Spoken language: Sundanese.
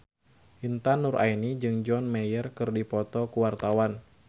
Intan Nuraini jeung John Mayer keur dipoto ku wartawan